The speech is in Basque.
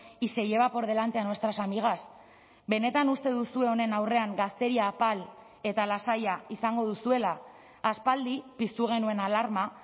y se lleva por delante a nuestras amigas benetan uste duzue honen aurrean gazteria apal eta lasaia izango duzuela aspaldi piztu genuen alarma